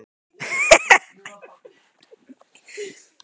Boði, stilltu tímamælinn á fjörutíu og átta mínútur.